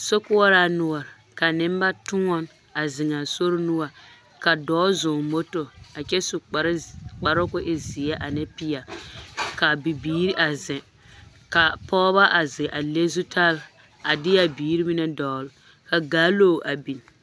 Sokoɔraa noɔre ka nembatoɔne a zeŋaa sori noɔre ka dɔɔ zɔŋ moto a kyɛ su kparoo k'o e zeɛ ane peɛle k'a bibiiri a zeŋ k'a pɔgebɔ a zeŋ a le zutale a deɛ biiri mine dɔgele ka gaalo a biŋ.